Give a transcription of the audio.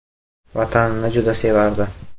Vatanini juda sevardi.